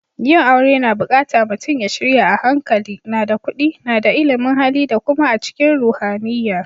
Yin aure na bukatta mutum ya shirya a hankali, na da kudi, na da illimin Hali da kuma a cikin ruhaniyya.